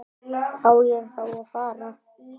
Á ég þá að fara.